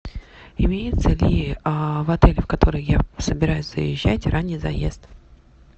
имеется ли в отеле в который я собираюсь заезжать ранний заезд